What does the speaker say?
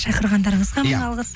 шақырғандарыңызға мың алғыс